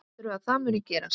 Heldurðu að það muni gerast?